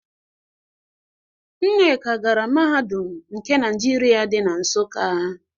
Nneka gara Mahadum nke Naịjirịa dị na Nsụka.